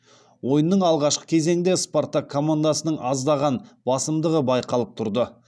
ойынның алғашқы кезеңінде спартак командасының аздаған басымдығы байқалып тұрды